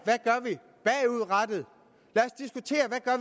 hvad